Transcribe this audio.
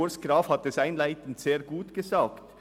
Urs Graf hat es einleitend sehr gut gesagt: